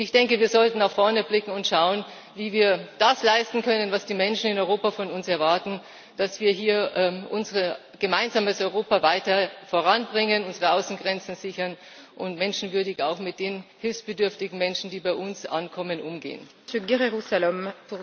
Ich denke, wir sollten nach vorne blicken und schauen, wie wir das leisten können, was die Menschen in Europa von uns erwarten dass wir hier unser gemeinsames Europa weiter voranbringen, unsere Außengrenzen sichern und auch mit den hilfsbedürftigen Menschen, die bei uns ankommen, menschenwürdig umgehen.